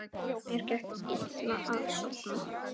Mér gekk illa að sofna.